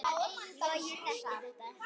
Logi þekkir þetta.